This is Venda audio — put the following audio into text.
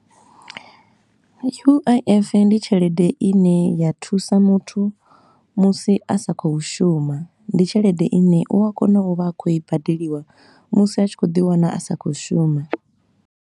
U-I-F ndi tshelede i ne ya thusa muthu musi a sa khou shuma, ndi tshelede i ne u a kona u vha a khou i badeliwa musi a tshi khou ḓi wana a sa khou shuma.